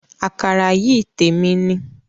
Àkàrà yìí témi ni